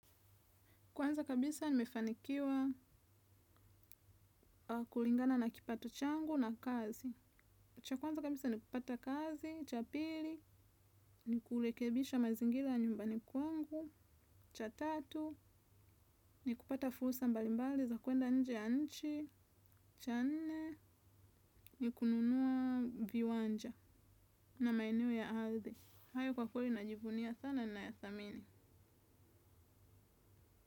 Kwanza kabisa nimefanikiwa kulingana na kipato changu na kazi. Kwanza kabisa ni kupata kazi, cha pili, ni kurekebisha mazingira nyumbani kwangu, cha tatu, ni kupata fursa mbalimbali za kuenda nje ya nchi, cha nne, ni kununua viwanja na maeneo ya ardhi. Hayo kwa kweli najivunia sana na ya dhamini.